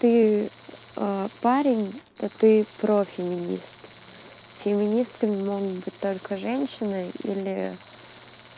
ты а парень та ты про феминист феминистками могут быть только женщина или